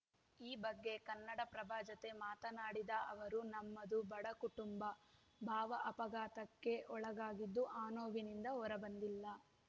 ಈ ಬಗ್ಗೆ ಕನ್ನಡಪ್ರಭ ಜತೆ ಮಾತನಾಡಿದ ಅವರು ನಮ್ಮದು ಬಡ ಕುಟುಂಬ ಭಾವ ಅಪಘಾತಕ್ಕೆ ಒಳಗಾಗಿದ್ದು ಆ ನೋವಿನಿಂದ ಹೊರ ಬಂದಿಲ್ಲ